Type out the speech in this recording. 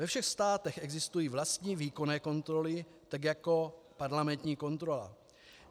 Ve všech státech existují vlastní výkonné kontroly, tak jako parlamentní kontrola.